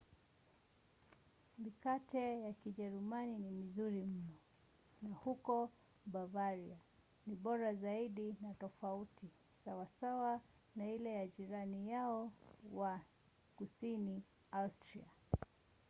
mikate ya kijerumani ni mizuri mno na huko bavaria ni bora zaidi na tofauti sawasawa na ile ya jirani yao wa kusini austria